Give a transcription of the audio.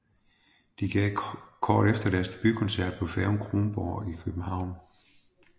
De gav kort efter deres debutkoncert på på færgen Kronborg i København